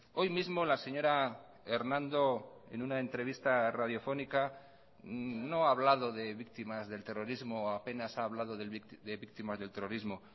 hoy mismo la señora hernando en una entrevista radiofónica no ha hablado de víctimas del terrorismo apenas ha hablado de víctimas del terrorismo